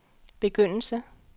begyndelse